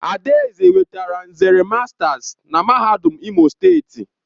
Adaeze nwetara nzere masters na MAHADUM IMO STEETI.